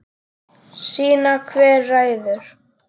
Sýna hver ræður.